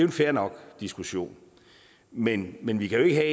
en fair nok diskussion men men vi kan ikke have